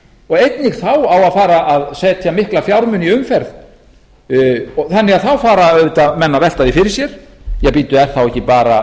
og einnig þá á að fara að setja mikla fjármuni í umferð þannig að þá fara menn auðvitað að velta því fyrir sér er þá ekki bara best